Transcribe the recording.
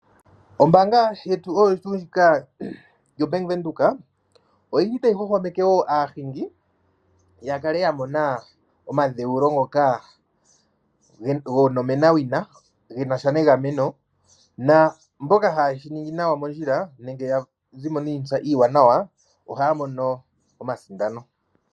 Ombaanga yetu oyo tuu ndjika yoBank Windhoek, otayi hwahwameke wo aahingi ya kale ya mona omadhewulo ngoka gonomenawina ge na sha negameno naamboka haye shi ningi nawa mondjila nenge ya zi mo niitsa iiwanawa ohaya mono omasindano.